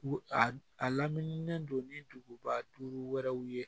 A laminilen don ni duguba duuru wɛrɛ ye